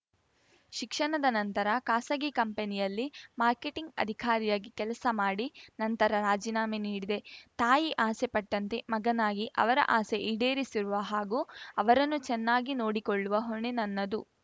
ಶಿಕ್ಷಣದ ನಂತರ ಖಾಸಗಿ ಕಂಪನಿಯಲ್ಲಿ ಮಾರ್ಕೆಟಿಂಗ್‌ ಅಧಿಕಾರಿಯಾಗಿ ಕೆಲಸ ಮಾಡಿ ನಂತರ ರಾಜಿನಾಮೆ ನೀಡಿದೆ ತಾಯಿ ಆಸೆ ಪಟ್ಟಂತೆ ಮಗನಾಗಿ ಅವರ ಆಸೆ ಈಡೇರಿಸುವ ಹಾಗೂ ಅವರನ್ನು ಚೆನ್ನಾಗಿ ನೋಡಿಕೊಳ್ಳುವ ಹೊಣೆ ನನ್ನದು